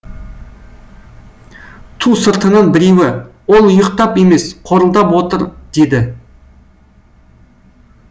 ту сыртынан біреуі ол ұйықтап емес қорылдап отыр деді